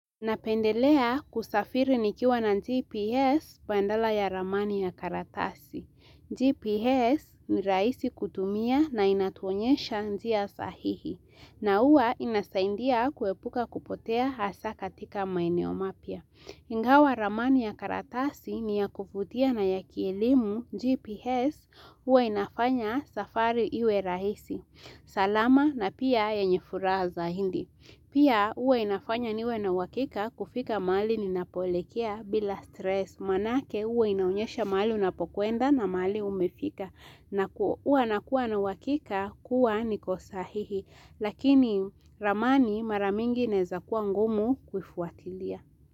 Napendelea kusafiri nikiwa na GPS badala ya ramani ya karatasi. GPS ni rahisi kutumia na inatuonyesha njia sahihi. Na huwa inasaidia kuepuka kupotea hasa katika maeneo mapya. Ingawa ramani ya karatasi ni ya kuvutia na ya kielimu GPS huwa inafanya safari iwe rahisi. Salama na pia yenye furaha zaidi. Pia huwa inafanya niwe na uhakika kufika mahali ninapoelekea bila stress. Maanake huwa inaonyesha mahali unapokwenda na mali umefika. Huwa nakua na uhakika kuwa niko sahihi. Lakini ramani mara mingi inaeza kuwa ngumu kuifuatilia.